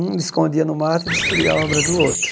Um escondia no mato e destruía a obra do outro.